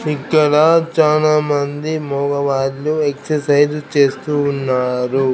ఇక్కడ చానామంది మగ వాళ్ళు ఎక్ససైజ్ చేస్తూ ఉన్నారు.